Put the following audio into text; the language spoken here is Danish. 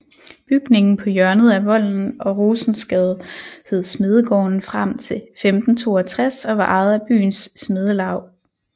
Bygningen på hjørnet af Volden og Rosensgade hed smedegården frem til 1562 og var ejet af byens smedelaug